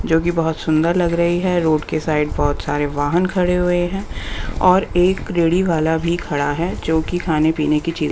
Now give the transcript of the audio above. जो कि बहुत सुंदर लग रही है रोड के साइड बहुत सारे वाहन खड़े हुए हैं और एक रेड़ी वाला भी खड़ा है जो कि खाने-पीने की चीज--